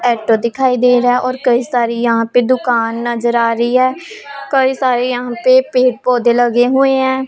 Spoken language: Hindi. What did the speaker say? ऑटो दिखाई दे रहा है और कई सारी यहां पे दुकान नज़र आ रही है कई सारी यहां पे पेड पौधे लगे हुए हैं।